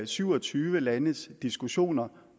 syv og tyve landes diskussioner